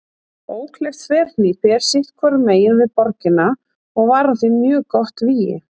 Ókleift þverhnípi er sitt hvorum megin við borgina og var hún því mjög gott vígi.